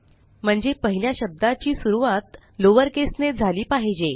म्हणजे पहिल्या शब्दाची सुरूवात लॉवर केस ने झाली पाहिजे